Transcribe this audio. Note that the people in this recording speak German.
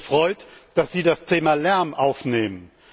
Ich hatte mich gefreut, dass Sie das Thema Lärm aufnehmen.